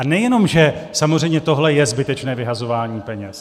A nejenom že samozřejmě tohle je zbytečné vyhazování peněz.